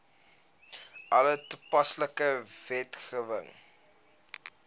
alle toepaslike wetgewing